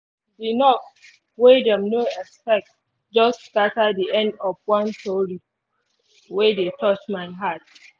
the knok wey them no expect just scatter the end of one tori wey dey touch my heart